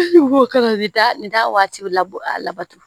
Nin da waati bɛ labɔ a labatu